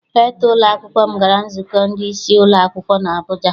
Rektọ ụlọakwụkwọ m gara nzukọ ndị isi ụlọ akwụkwọ n'Abuja.